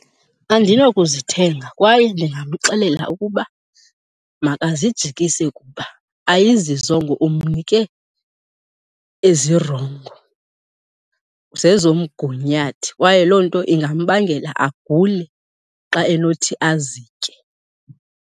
Andinokuzithenga kwaye ndingamxelela ukuba makazijikise kuba ayizizongo, umnike ezirongo. Zezomgunyathi kwaye loo nto ingambangela agule xa enothi azitye.